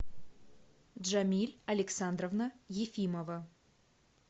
джамиль александровна ефимова